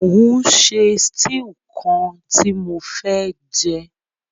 Mo n se stew kan ti mo fé jẹ